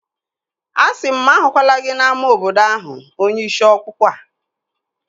Asịrị m mụ ahụkwala gị n'ámá obodo ahụ onye ishi ọkpụkpụ a!